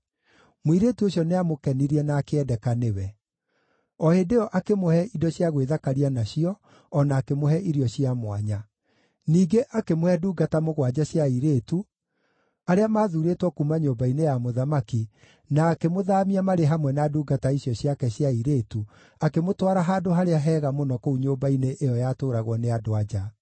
Mũirĩtu ũcio nĩamũkenirie na akĩendeka nĩwe. O hĩndĩ ĩyo akĩmũhe indo cia gwĩthakaria nacio o na akĩmũhe irio cia mwanya. Ningĩ akĩmũhe ndungata mũgwanja cia airĩtu, arĩa maathuurĩtwo kuuma nyũmba-inĩ ya mũthamaki na akĩmũthaamia marĩ hamwe na ndungata icio ciake cia airĩtu akĩmũtwara handũ harĩa hega mũno kũu nyũmba-inĩ ĩyo yatũũragwo nĩ andũ-a-nja.